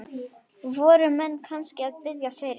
Voru menn kannski að biðjast fyrir?